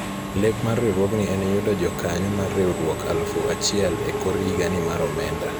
lek mar riwruogni en yudo jokanyo mar riwruok alufuachiel e kor higa ni mar omenda